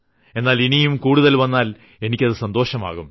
എന്നാൽ ഇനിയും കൂടുതൽ വന്നാൽ എനിക്കു സന്തോഷമാകും